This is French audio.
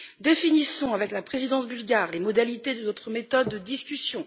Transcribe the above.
Définissons avec la présidence bulgare les modalités de notre méthode de discussion.